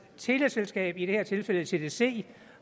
teleselskab i det her tilfælde tdc